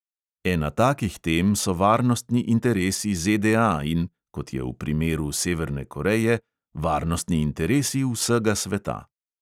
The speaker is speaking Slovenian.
Ena takih tem so varnostni interesi ZDA in kot je v primeru severne koreje – varnostni interesi vsega sveta.